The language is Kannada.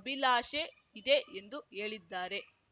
ಅಭಿಲಾಷೆ ಇದೆ ಎಂದು ಹೇಳಿದ್ದಾರೆ